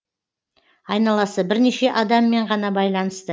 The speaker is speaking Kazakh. айналасы бірнеше адаммен ғана байланысты